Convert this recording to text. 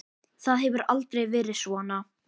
Það hefur aldrei verið svona.